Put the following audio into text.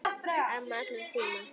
Amma allra tíma.